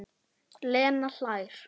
Lena hlær.